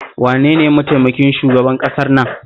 Wane ne mataimakin shugaban ƙasar nan?